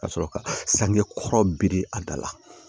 Ka sɔrɔ ka sange kɔrɔ biri a da la